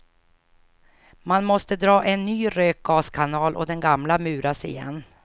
Man måste dra en ny rökgaskanal och den gamla muras igen.